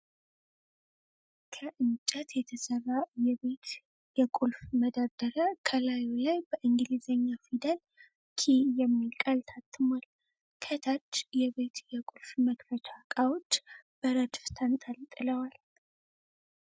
ከእንጨት የተሰራ የቤት የቁልፍ መደርደሪያ ከላዩ ላይ በእንግሊዘኛ ፊደል " ኪይ" የሚል ቃል ታትሟል። ከታች የቤት የቁልፍ መክፈቻ እቃዎች በረድፍ ተንጠልጥለዋል።